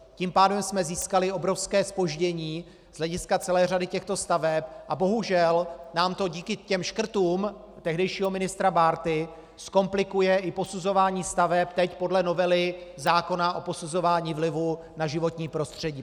Tím pádem jsme získali obrovské zpoždění z hlediska celé řady těchto staveb a bohužel nám to díky těm škrtům tehdejšího ministra Bárty zkomplikuje i posuzování staveb teď podle novely zákona o posuzování vlivu na životní prostředí.